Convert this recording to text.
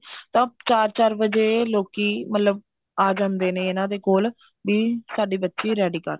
ਅਹ ਚਾਰ ਚਾਰ ਵਜੇ ਲੋਕੀ ਮਤਲਬ ਆ ਜਾਂਦੇ ਨੇ ਇਹਨਾ ਦੇ ਕੋਲ ਵੀ ਸਾਡੀ ਬੱਚੀ ready ਕਰਦੋ